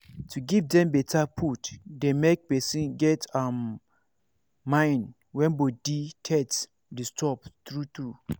to give dem better food dey make person get um mind when body thet disturb true true